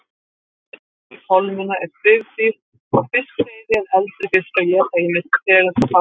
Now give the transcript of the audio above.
Fæða yngri kolmunna er svifdýr og fiskseiði en eldri fiskar éta ýmsar tegundir smáfiska.